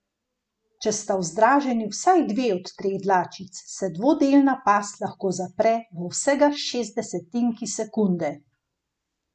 Če sta vzdraženi vsaj dve od treh dlačic, se dvodelna past lahko zapre v vsega šestdesetinki sekunde.